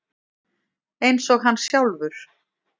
Eins og hann sjálfur.